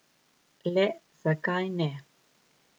Le zakaj ne?